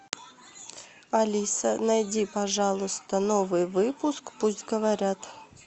алиса найди пожалуйста новый выпуск пусть говорят